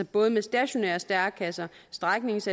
både med stationære stærekasser stræknings